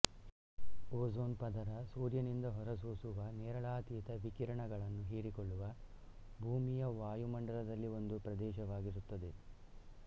ozone ಪದರ ಸೂರ್ಯನಿಂದ ಹೊರಸೂಸುವ ನೇರಳಾತೀತ ವಿಕಿರಣಗಳನ್ನು ಹೀರಿಕೊಳ್ಳುವ ಭೂಮಿಯ ವಾಯುಮಂಡಲದಲ್ಲಿ ಒಂದು ಪ್ರದೇಶವಾಗಿರುತ್ತದೆ